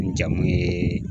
N jamu ye